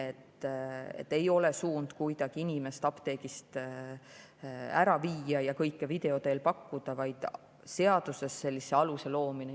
Suund ei ole kuidagi inimest apteegist ära viia ja kõike video teel pakkuda, vaid seaduses sellise aluse loomine.